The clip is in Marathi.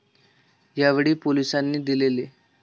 यावेळी, पोलिसांनी दिलेला.